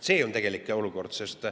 See on tegelik olukord.